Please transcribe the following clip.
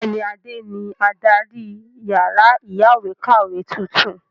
Bẹ́ẹ̀ni, Adé ni adarí yàrá ìyáwèékàwé tuntun.